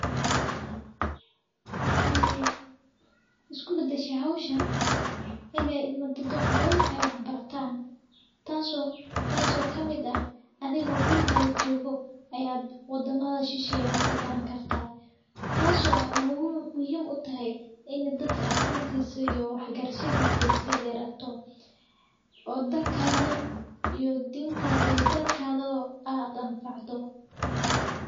Waxey, isku bida shi howshin inay ilmo dadwax badan ay wax barataan. Taasoo, taasoo ka mid ah adeego gurigaada joogo, ayaad u damaaashisheeyay wax ka baran kartaa. Taasoo mu muhiim u tahay in dadka akhuntiisa iyo wax garshadiisa ay sii dheerato, oo dalkaada iyo dibnta haday dalkaada oo aad u unfacdo.